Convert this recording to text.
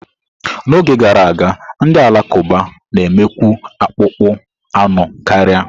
N'oge gara aga, ndị Alakụba na-emekwu akpụkpọ anụ karia.